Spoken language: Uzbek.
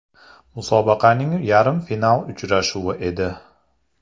Musobaqaning yarim final uchrashuvi edi.